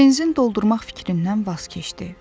Benzin doldurmaq fikrindən vaz keçdi.